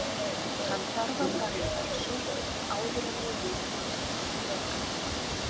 Hann þarf að fara í rannsókn áður en við vitum nokkuð frekar.